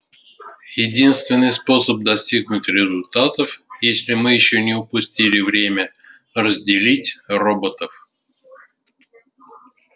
единственный способ достигнуть результатов если мы ещё не упустили время разделить роботов